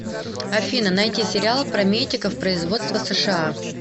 афина найти сериал про метиков производства сша